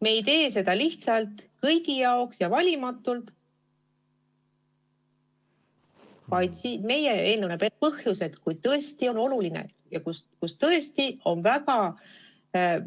Me ei tee seda lihtsalt kõigi jaoks ja valimatult, vaid meie eelnõu näeb ette põhjused, kui tõesti on oluline ja kui tõesti on tegemist